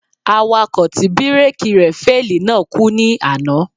Awakọ̀ tí bíréèkì rẹ̀ féèlì náà kú ní àná.